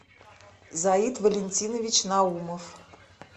заит валентинович наумов